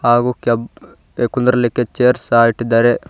ಹಾಗು ಕೆಪ್ ಕುಂದರ್ಲಿಕ್ಕೆ ಚೇರ್ಸ್ ಸಹ ಇಟ್ಟಿದ್ದಾರೆ.